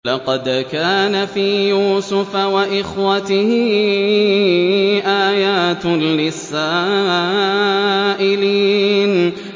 ۞ لَّقَدْ كَانَ فِي يُوسُفَ وَإِخْوَتِهِ آيَاتٌ لِّلسَّائِلِينَ